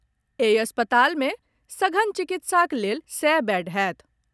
एहि अस्पताल मे सघन चिकित्साक लेल सय बेड होयत।